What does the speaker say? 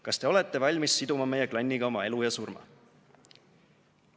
"Kas te olete valmis siduma meie klanniga oma elu ja surma?"